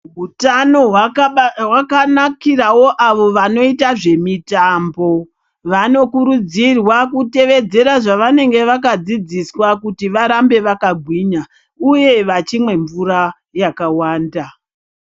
Hutano hwakanakirawo avo vanoita zvemitambo vanokurudzirwa kutevedzera zvavanenge vakadzidziswa kuti varambe vakagwinya uye vachimwa mvura yakawanda.